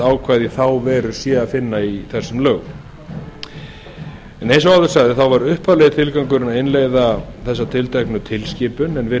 ákvæði í þá veru sé að finna í þessum lögum eins og áður segir var upphaflegi tilgangurinn með frumvarpinu að innleiða þessa tilteknu tilskipun við